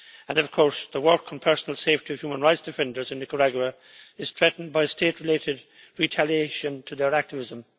And of course, the work and personal safety of human rights defenders in Nicaragua is threatened by State related retaliation to their activism.